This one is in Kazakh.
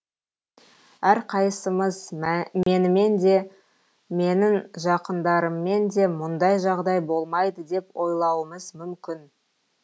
әрқайсымыз менімен де менің жақындарыммен де мұндай жағдай болмайды деп ойлауымыз мүмкін